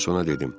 Mən ona dedim: